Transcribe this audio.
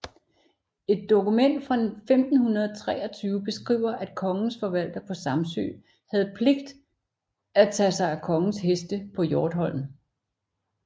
Et dokument fra 1523 beskriver at kongens forvalter på Samsø havde pligt at tage sig af kongens heste på Hjortholm